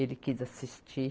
Ele quis assistir.